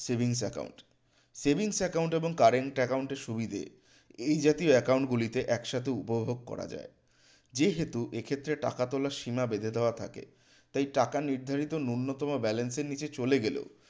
savings account savings account এবং current account এর সুবিধে এই জাতীয় account গুলিতে একসাথে উপভোগ করা যায় যেহেতু এক্ষেত্রে টাকা তোলার সীমা বেঁধে দেওয়া থাকে তাই টাকা নির্ধারিত ন্যূনতম balance এর নিচে চলে গেলে